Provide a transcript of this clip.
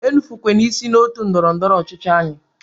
E nufukwene isi otu ndọrọ ndọrọ ọchịchị anyị!